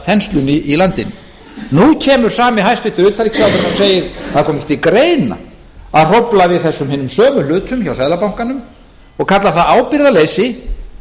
þenslunni í landinu nú kemur sami hæstvirts utanríkisráðherra og segir að það komi ekki til greina að hrófla við þessum hinum sömu hlutum hjá seðlabankanum og kallar það ábyrgðarleysi